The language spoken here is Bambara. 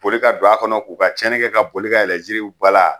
Boli ka don a kɔnɔ k'u ka cɛnni kɛ ka boli ka yɛlɛ jiriw bala